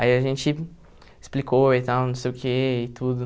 Aí a gente explicou e tal, não sei o quê e tudo.